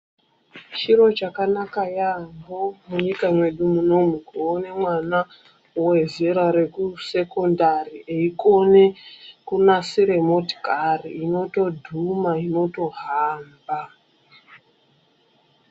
Chiro chakanaka yaambo munyika medu ,muno umu kuona mwana wezera rekusekondari weikone kunasire motikari inotodhuma, inotohamba.